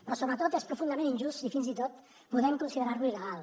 però sobretot és profundament injust i fins i tot podem considerar lo il·legal